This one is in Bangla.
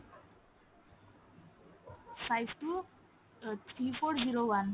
five two eight three four zero one